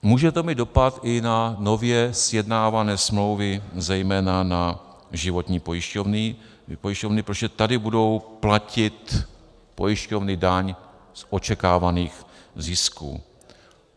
Může to mít dopad i na nově sjednávané smlouvy, zejména na životní pojišťovny, protože tady budou platit pojišťovny daň z očekávaných zisků.